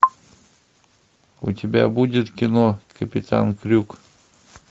у тебя будет кино капитан крюк